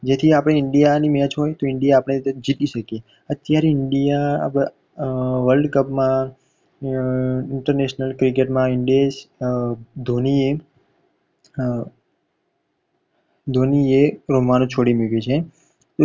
દુનિયા અબ world cup માં international cricket માં in દેશ ધોનીએ ધોનીએ રમવાનું છોડી મૂક્યું છે.